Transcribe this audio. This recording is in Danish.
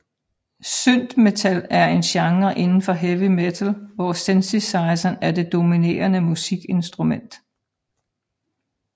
Synthmetal er en genre inden for heavy metal hvor synthesizeren er det dominerende musikinstrument